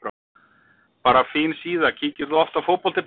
Bara fín síða Kíkir þú oft á Fótbolti.net?